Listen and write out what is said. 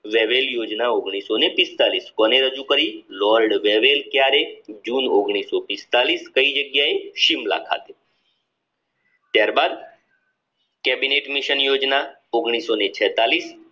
Wavell યોજના કોની રજૂ કરી લોર્ડ વેવેલ ક્યારે જૂન કઈ જગ્યાએ શિમલા ખાતે ત્યારબાદ કેબિનેટ મિશન યોજના